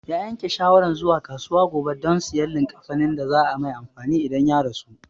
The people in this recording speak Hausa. Ya yanke shawaran zuwa kasuwa gobe don sayan likkafanin da za a mai amfani idan ya rasu